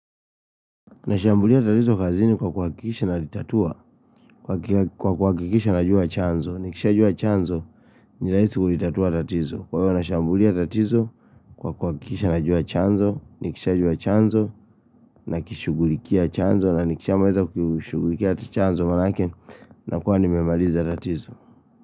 Nashambulia tatizo kazini kwa kuakikisha najua chanzo, nikisha jua chanzo, ni rahisi kulitatua tatizo. Kwa hiyo nashambulia tatizo kwa kuakikisha najua chanzo, ni kisha jua chanzo, na kishugulikia chanzo, na nikisha maliza kushugulikia chanzo maanake na kuwa nimemaliza tatizo.